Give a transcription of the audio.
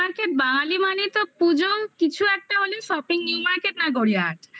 new market বাঙালি মানেই তো পুজো কিছু একটা হলেই shopping new market না গড়িয়াহাট